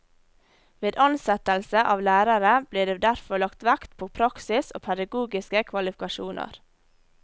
Ved ansettelse av lærere ble det derfor lagt vekt på praksis og pedagogiske kvalifikasjoner.